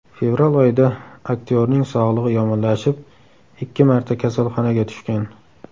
Fevral oyida aktyorning sog‘lig‘i yomonlashib, ikki marta kasalxonaga tushgan.